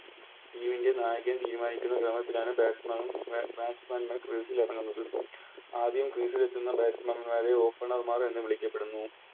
Team ൻറെ നായകൻ തീരുമാനിക്കുന്ന രൂപത്തിലാണ് Batsman ൻറെ Batsman crease ൽ ഇറങ്ങുന്നത് ആദ്യം Crease ലെത്തുന്ന Batsman മാരെ Opener മാർ എന്ന് വിളിക്കപ്പെടുന്നു